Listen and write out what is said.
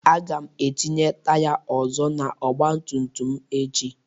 Aga m etinye taya ọzọ n'ọgba tum tum m echi.